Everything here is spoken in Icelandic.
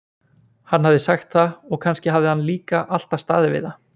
Hann hafði sagt það og kannski hafði hann líka alltaf staðið við það.